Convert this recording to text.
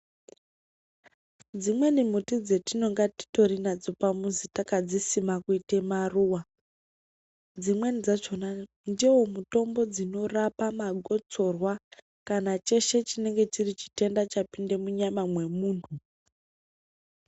Dzimweni muti dzatinenge titori nadzo pamuzi takadzisima kuita maruwa dzimweni dzakona dziwo mitombo inorapa magotsorwa kana cheshe chinenge chiri chitenda chapinda munyama mwemuntu.